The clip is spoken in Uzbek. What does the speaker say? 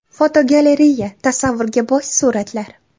Fotogalereya: Tasavvurga boy suratlar.